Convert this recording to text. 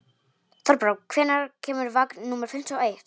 Þorbrá, hvenær kemur vagn númer fimmtíu og eitt?